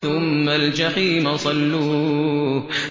ثُمَّ الْجَحِيمَ صَلُّوهُ